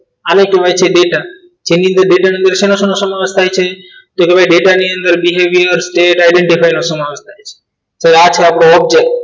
આને કહેવાય છે ડેટા જેની જેની અંદર ડેટા નો શેનો સમાવેશ થાય છે તો ભાઈ કે ડેટાની અંદર તો behaviour state identy આ છે આપણો object